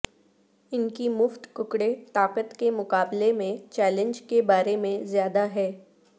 ان کی مفت ککڑے طاقت کے مقابلے میں چیلنج کے بارے میں زیادہ ہیں